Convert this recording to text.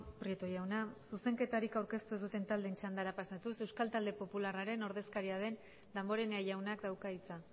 prieto jauna zuzenketarik aurkeztu ez duten taldeen txandara pasatuz euskal talde popularraren ordezkaria den damborenea jaunak dauka hitza